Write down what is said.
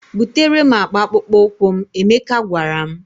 "Butere m akpa akpụkpọ ụkwụ m," Emeka gwara m.